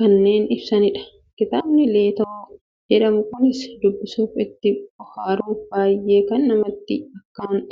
kanneen ibsanidha. Kitaabni Leetoo jedhamu Kun, dubbisuuf, itti bohaaruuf baayyee kan namatti akkaan toludha.